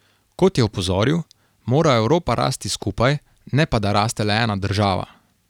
Kot je opozoril, mora Evropa rasti skupaj, ne pa da raste le ena država.